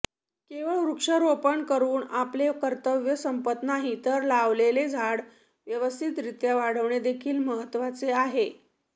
केवळ वृक्षारोपण करून आपले कर्तव्य संपत नाही तर लावलेले झाड व्यवस्थितरीत्या वाढणेदेखील महत्त्वाचे आहे